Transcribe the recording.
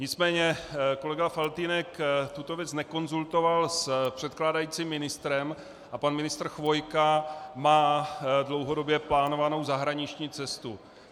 Nicméně kolega Faltýnek tuto věc nekonzultoval s předkládajícím ministrem a pan ministr Chvojka má dlouhodobě plánovanou zahraniční cestu.